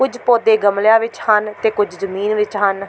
ਕੁੱਝ ਪੌਦੇ ਗਮਲਿਆਂ ਵਿੱਚ ਹਨ ਤੇ ਕੁਝ ਜ਼ਮੀਨ ਵਿੱਚ ਹਨ।